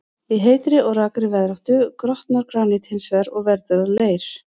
Í heitri og rakri veðráttu grotnar granít hins vegar og verður að leir.